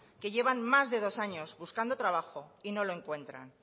que llevan más de dos años buscando trabajo y no lo encuentran